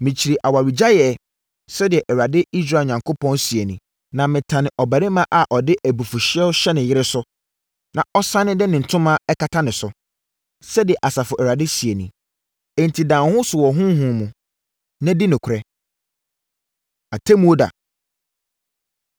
“Mekyiri awaregyaeɛ!” Sɛdeɛ Awurade Israel Onyankopɔn seɛ nie. “Na metane ɔbarima a ɔde abufuhyeɛ hyɛ ne yere so na ɔsane de ne ntoma kata ne so,” sɛdeɛ Asafo Awurade seɛ nie. Enti da wo ho so wɔ honhom mu, na di nokorɛ. Atemmuo Da